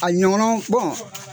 A ɲɔgɔnna